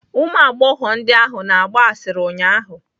Ụmụ agbọghọ ndị ahụ na-agba asịrị ụnyaahụ